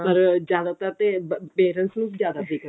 ਪਰ ਜਿਆਦਾਤਰ ਤਾਂ parents ਨੂੰ ਜਿਆਦਾ ਫਿਕਰ